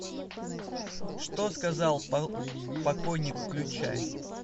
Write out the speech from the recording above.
что сказал покойник включай